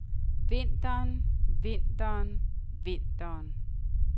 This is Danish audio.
vinteren vinteren vinteren